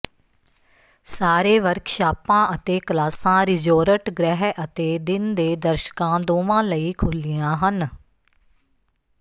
ਸਾਰੇ ਵਰਕਸ਼ਾਪਾਂ ਅਤੇ ਕਲਾਸਾਂ ਰਿਜੋਰਟ ਗ੍ਰਹਿ ਅਤੇ ਦਿਨ ਦੇ ਦਰਸ਼ਕਾਂ ਦੋਵਾਂ ਲਈ ਖੁੱਲ੍ਹੀਆਂ ਹਨ